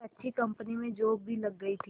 एक अच्छी कंपनी में जॉब भी लग गई थी